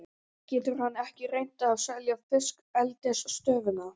Getur hann ekki reynt að selja fiskeldisstöðina?